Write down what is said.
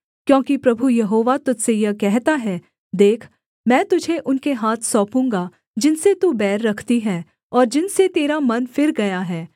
क्योंकि प्रभु यहोवा तुझ से यह कहता है देख मैं तुझे उनके हाथ सौंपूँगा जिनसे तू बैर रखती है और जिनसे तेरा मन फिर गया है